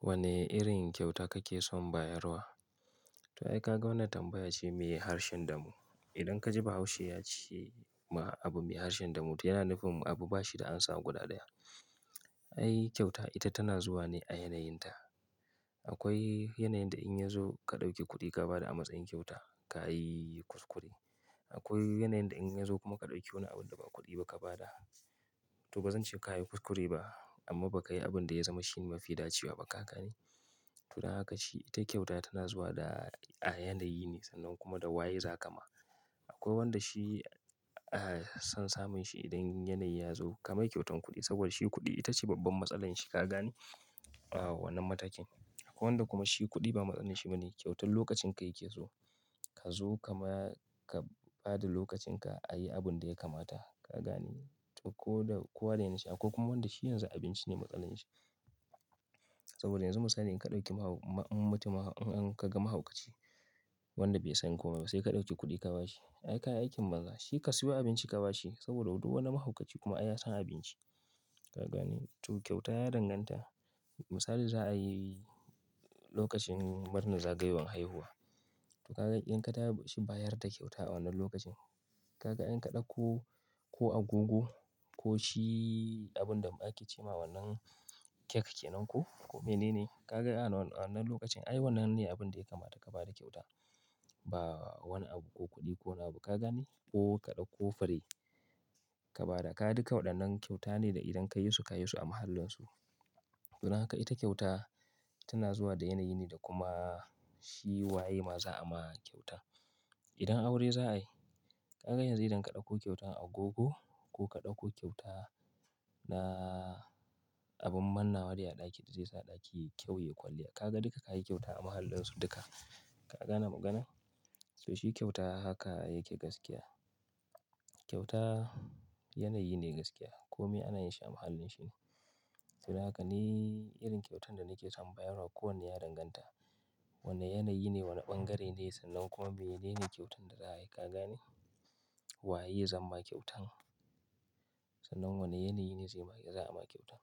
Wane irin kyauta kake son bayarwa? To ai ka ga wannan tambaya ce mai harshen damo. Idan ka ji Bahaushe ya ce ma abu mai harshen damo, to yana nufin abu ba shi da an samu guda ɗaya. Ai kyauta ita tana zuwa ne a yanayinta. Akwai yanayin da in ya zo ka ɗauki kuɗi ka ba da a matsayin kyauta, ka yi kuskure. Akwai yanayin da in ya zo kuma ka ɗauki wani abu da ba kuɗi ba ka ba da, to ba zan ce ka yi kuskure ba amma ba ka yi abin da ya zama shi mafi dacewa ba ka gani? To dan haka ita kyauta tana zuwa a yanayi na kuma waye zakai wa. Akwai wanda shi, ah, son samun shi idan yanayi ya zo ka mai kyautan kuɗi saboda shi kuɗi ita ce babban matsalar shi ka gane? A wannan matakin. Akwai wanda kuma shi kuɗi ba matsalar shi bane, kyautar lokacin ka yake zuwa. Ka zo ka ma-- ka ba da lokacin ka a yi abun da ya kamata ka gani? To ko da kuwa da yanashi akwai kuma wanda shi yanzu abinci ne matsalar shi. Saboda yanzu misali in ka ɗauki mahau-- in mutum in ka ga mahaukaci wanda bai san komai ba sai ka ɗauki kuɗi ka ba shi. Ai ka yi aikin banza, shi ka siyo abinci ka ba shi saboda duk wani mahaukaci kuma ai ya san abinci ka gani? To kyauta ya danganta. Misali in za'ai lokacin murnar zagayowar ranar haihuwa to ka ga idan ka taɓa shi bayar da kyauta a wannan lokacin, ka ga in ka ɗauko ko agogo ko shi abin da ake ce ma wannan kek ke nan ko, ko mene ne. Ka ga a wannan, a wannan lokacin ai wannan ne abin da ya kamata ka ba da kyauta. Ba wani abu ko kuɗi ko abu ka gani? Ko ka ɗauko fare ka ba da, ka duka waɗannan kyauta ne da idan ka yi su, ka yi su a mahallin su. To da haka ita kyauta tana zuwa da yanayi ne da kuma shi waye ma za a ma kyauta. Idan aure za'a yi, ka ga yanzu idan ka ɗauko kyautan agogo ko ka ɗauko kyauta na abin manna wa a ɗaki da zai sa ɗaki kyau ya yi kwalliya. Ka ga duka ka yi kyauta a mahallin su duka. Ka gane maganar? To shi kyauta haka yake gaskiya. Kyauta yanayi ne gaskiya. Ko me ana yin shi a mahallin shi ne. To da haka ne irin kyautan da nake son bayarwa kowanne ya danganta. Wane yanayi ne, wane bangare ne sannan kuma menene kyautan da za'a yi ka gane? Waye zan ma kyautan? Sannan wane yanayi ne zai ma, za a ma kyautan.